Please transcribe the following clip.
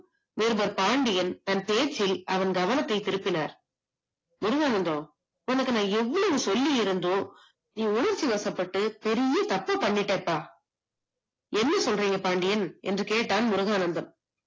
நிருபர் பாண்டியன் தன் பேச்சில் அவன் கவனத்தை திருப்பினார் முருகானந்தம் நான் உனக்கு எவ்வளவு சொல்லி இருந்தோம் நீ உணர்ச்சி வசப்பட்டு பெரிய தப்ப பண்ணிட்ட அப்பா என்ன சொல்றீங்க பாண்டியன் என்று கேட்டான் முருகானந்தம்